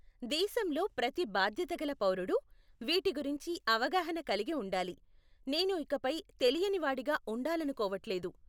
దేశంలో ప్రతి బాధ్యతగల పౌరుడు వీటి గురించి అవగాహన కలిగి ఉండాలి, నేను ఇకపై తెలియనివాడిగా ఉండాలనుకోవట్లేదు.